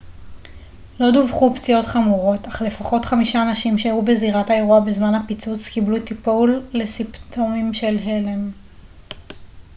לא דווחו פציעות חמורות אך לפחות חמישה אנשים שהיו בזירת האירוע בזמן הפיצוץ קיבלו טיפול לסימפטומים של הלם